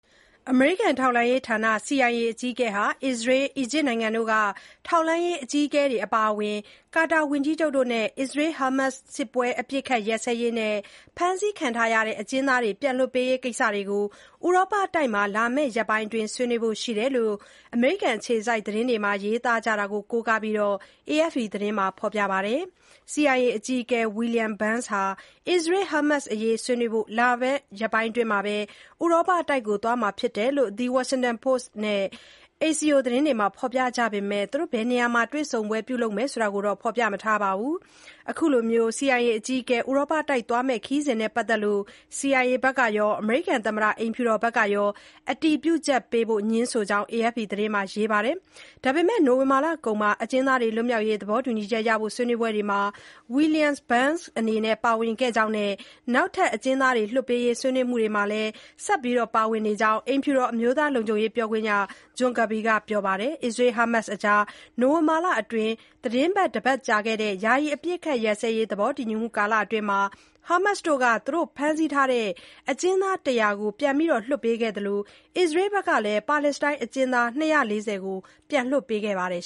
အမေရိကန်ထောက်လှမ်းရေးဌာန CIA အကြီးအကဲဟာ အစ္စရေး၊ အီဂျစ်နိုင်ငံတို့က ထောက်လှမ်းရေး အကြီးအကဲတွေ အပါအဝင် ကာတာ ဝန်ကြီးချုပ်တို့နဲ့ အစ္စရေး-ဟာမတ်စ် စစ်ပွဲ အပစ်အခတ်ရပ်စဲရေးနဲ့ ဖမ်းဆီးခံထားရတဲ့ အကျဉ်းသားတွေ ပြန်လွှတ်ပေးရေးကိစ္စတွေကို ဥရောပတိုက်မှာ လာမယ့်ရက်ပိုင်းအတွင်း ဆွေးနွေးဖို့ရှိတယ်လို့ အမေရိကန်အခြေစိုက် သတင်းတွေမှာ ရေးသားကြတာကို ကိုးကားပြီး AFP မှာ ဖော်ပြထားပါတယ်။ CIA အကြီးအကဲ William Burns ဟာ အစ္စရေး-ဟာမတ်စ်အရေး ဆွေးနွေးဖို့ လာမယ့်ရက်ပိုင်းအတွင်း ဥရောပတိုက်ကိုသွားမှာဖြစ်ကြောင်း The Washington Post and Axios သတင်းတွေမှာ ဖော်ပြကြပေမယ့် ဘယ်နေရာမှာ တွေ့ဆုံမှု ပြုလုပ်မယ်ဆိုတာတော့ ဖော်ပြမထားပါဘူး။ အခုလို CIA အကြီးအကဲ ဥရောပတိုက်သွားမယ့် ခရီးစဉ်နဲ့ပတ်သက်လို့ CIA ကရော၊ အမေရိကန်သမ္မတ အိမ်ဖြူတော်ကရော အတည်ပြုချက်ပေးဖို့ ငြင်းဆိုကြောင်း AFP သတင်းမှာ ရေးပါတယ်။ ဒါပေမယ့် နိုဝင်ဘာလကုန်မှာ အကျဉ်းသားတွေလွတ်မြောက်ရေး သဘောတူညီချက်ရဖို့ ဆွေးနွေးပွဲတွေမှာ William Burns အနေနဲ့ ပါဝင်ခဲ့ကြောင်းနဲ့ နောက်ထပ် အကျဉ်းသားတွေလွတ်ပေးရေး ဆွေးနွေးမှုတွေမှာလည်း ဆက်လက် ပါဝင်နေကြောင်း အိမ်ဖြူတော် အမျိုးသားလုံခြုံရေးပြောခွင့်ရ John Kirby က ပြောပါတယ်။ အစ္စရေး-ဟာမတ်စ်အကြား နိုဝင်ဘာလအတွင်း သီတင်းပတ် တပတ်ကြာခဲ့တဲ့ ယာယီအပစ်အခတ်ရပ်စဲရေး သဘောတူညီမှု ကာလအတွင်း ဟာမတ်စ်တို့က သူတို့ဖမ်းဆီးထားတဲ့ အကျဉ်းသား ၁၀၀ ကို ပြန်လွှတ်ပေးခဲ့သလို အစ္စရေးကလည်း ပါလက်စတိုင်းအကျဉ်းသား ၂၄၀ ကို ပြန်လွတ်ပေးခဲ့ပါတယ်